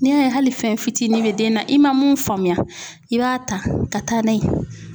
N'i y'a ye hali fɛn fitinin bɛ den na i man mun faamuya i b'a ta ka taa n'a ye